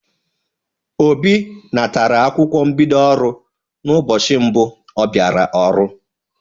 Obi natara akwụkwọ mbido ọrụ n'ụbọchị mbụ ọ bịara ọrụ.